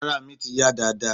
Arà mi ti yá dáadáa.